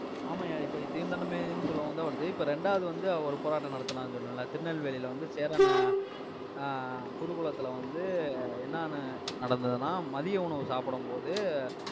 ஆமாய்யா, இப்ப நீ தீண்டாமைனு சொல்லும்போது தான் வருது. இப்ப இரண்டாவது வந்து, அவர் போராட்டம் நடத்தினாருன்னு சொன்னேன்ல திருநெல்வேலியில வந்து, சேரன் ஆஹ் குருகுலத்துல வந்து, என்னன்னு நடந்ததுன்னா மதிய உணவு சாப்பிடும்போது,